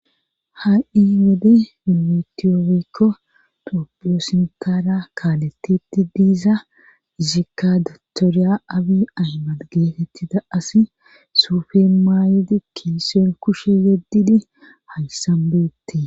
ha7i gede nimtiyofikko topioosintaara kaaletiti diiza zikadtooriya abi aymad geetettida asi suufe maayedi kinseen kushe yeddidi haysanbeette